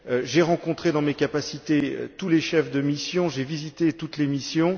J'ai rencontré dans mes capacités tous les chefs de mission, j'ai visité toutes les missions.